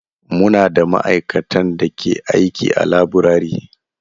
Muna da ma'aikatan da ke aiki a laburare.